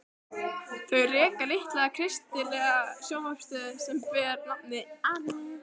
Þau reka litla kristilega sjónvarpsstöð sem ber nafnið Amen.